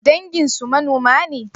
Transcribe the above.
Danginsu manoma ne?